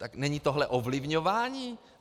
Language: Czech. Tak není tohle ovlivňování?